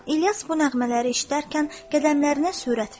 İlyas bu nəğmələri eşidərkən qədəmlərinə sürət verdi.